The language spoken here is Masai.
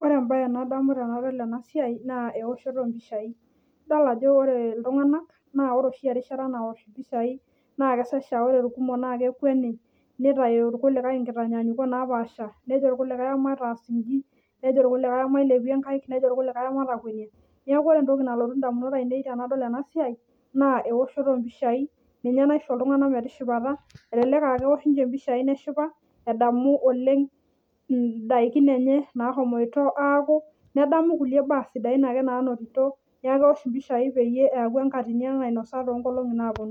Ore entoki nadamu tenadol ena siai naa eoshoti oompishai ,idol ajo ore iltunganak ,ore oshi enkata naosh mpishai naa kesesha ore irkumok naa kekweni nitayu irkulikae nkitanyanyukot napaasha, nejo irkulikae mataa inji ,nejo irkulikae emailepie nkaek ,nejo irkulikae ematakwenia ,neeku ore entoki nalotu ndamunot aienei tenadol ena siai naa eoshoto ompisai ninye naisho iltunganak metishipata. Elelek aa keisho ninche mpishai neshipa oleng edamu ndaikin nashomoto aaku nedamu kulie baa sidain ake naanoto, neeku keosh mpishai peyie eku enkatini nainosa toonkolongi ang naaponu.